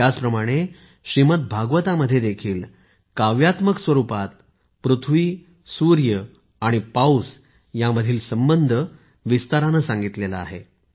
त्याचप्रमाणे श्रीमद्भागवत मध्ये देखील काव्यात्मक स्वरूपात पृथ्वी सूर्य आणि पाऊस यामधील संबंध विस्ताराने सांगितला आहे